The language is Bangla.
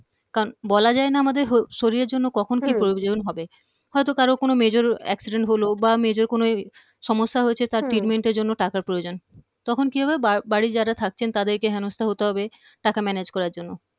কারণ বলা যায় না আমাদের শরীরে জন্য কখন হম কি প্রয়োজন হবে হয়ত কারও কোনো major accident হলো বা major কোনো সমস্যা হয়েছে হম তার treatment এর জন্য টাকার প্রয়োজন তখন কি হবে বা বাড়ি যারা থাকছেন তাদেরকে হেনস্থা হতে হবে টাকা manage করার জন্য